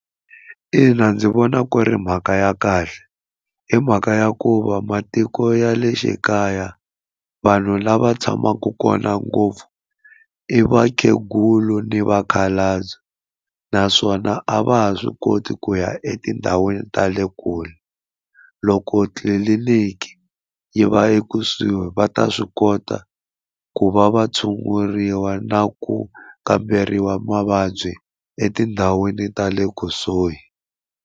Ina ndzi vona ku ri mhaka ya kahle hi mhaka ya ku va matiko ya le xikaya vanhu lava tshamaka kona ngopfu i vakhegula ni vakhalabye naswona a va ha swi koti ku ya etindhawini ta le kule loko tliliniki yi va ekusuhi va ta swi kota ku va va tshunguriwa na ku kamberiwa mavabyi etindhawini ta le kusuhi.